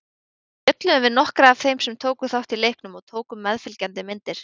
Við spjölluðum við nokkra af þeim sem tóku þátt í leiknum og tókum meðfylgjandi myndir.